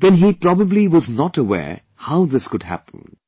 then he probably was not aware how this would happen